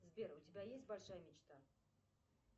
сбер у тебя есть большая мечта